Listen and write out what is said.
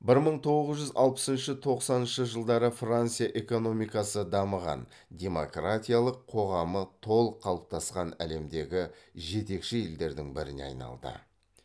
бір мың тоғыз жүз алпысыншы тоқсаныншы жылдары франция экономикасы дамыған демократиялық қоғамы толық қалыптасқан әлемдегі жетекші елдердің біріне айналды